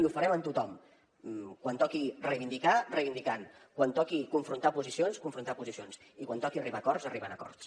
i ho farem amb tothom quan toqui reivindicar reivindicant quan toqui confrontar posicions confrontant posicions i quan toqui arribar a acords arribant a acords